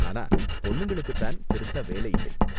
ஆனா பொண்ணுங்களுக்கு தான் பெருசா வேலை இல்லை.